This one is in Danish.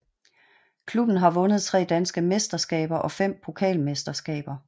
Klubben har vundet tre danske mesterskaber og fem pokalmesterskaber